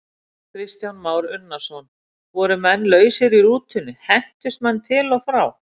Kristján Már Unnarsson: Voru menn lausir í rútunni, hentust menn til og frá?